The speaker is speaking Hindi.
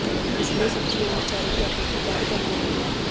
इसलिए सब्जियों और चारे की आपूर्ति काफी कम हो गई है